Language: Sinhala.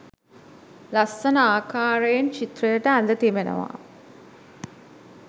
ලස්සන ආකාරයෙන් චිත්‍රයට ඇඳ තිබෙනවා.